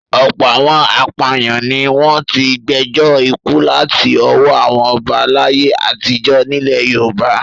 Ọ̀pọ̀ àwọn apàyàn ni wọ́n ti gbẹjọ́ ikú láti ọwọ́ àwọn ọba láyé àtijọ́ nílẹ̀ Yorùbá.